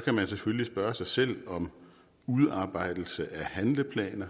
kan man selvfølgelig spørge sig selv om udarbejdelse af handleplaner